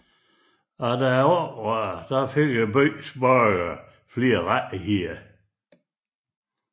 Efter oprøret fik byens borgere flere rettigheder